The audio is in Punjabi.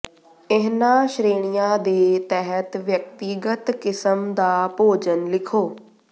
ਇਹਨਾਂ ਸ਼੍ਰੇਣੀਆਂ ਦੇ ਤਹਿਤ ਵਿਅਕਤੀਗਤ ਕਿਸਮ ਦਾ ਭੋਜਨ ਲਿਖੋ